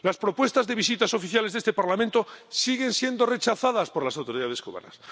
Las propuestas de visitas oficiales de este Parlamento siguen siendo rechazadas por las autoridades cubanas.